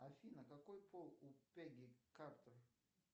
афина какой пол у пегги картер